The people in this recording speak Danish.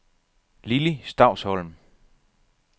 Lili Stausholm